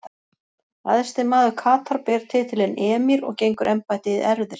Æðsti maður Katar ber titilinn emír og gengur embættið í erfðir.